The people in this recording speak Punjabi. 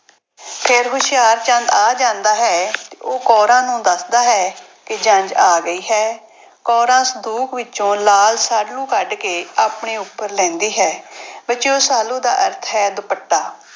ਫਿਰ ਹੁਸ਼ਿਆਰਚੰਦ ਆ ਜਾਂਦਾ ਹੈ। ਉਹ ਕੌਰਾਂ ਨੂੰ ਦੱਸਦਾ ਹੈ ਕਿ ਜੰਞ ਆ ਗਈ ਹੈ ਕੌਰਾਂ ਸੰਦੂਕ ਵਿੱਚੋਂ ਲਾਲ ਸਾਲੂ ਕੱਢ ਕੇ ਆਪਣੇ ਉੱਪਰ ਲੈਂਦੀ ਹੈ, ਬੱਚਿਓ ਸਾਲੂ ਦਾ ਅਰਥ ਹੈ ਦੁਪੱਟਾ।